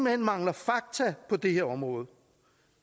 hen mangler fakta på det her område